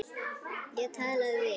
Ég talaði við